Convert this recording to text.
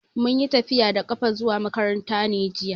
Mun yi tafiya da ƙafa zuwa makaranta ne jiya.